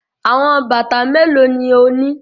Awọn bata melo ni o ni?